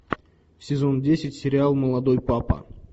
сезон десять сериал молодой папа